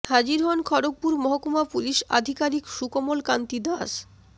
হাজির হন খড়্গপুর মহকুমা পুলিশ আধিকারিক সুকোমল কান্তি দাস